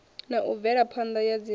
na u bvelaphanda ya dzilafho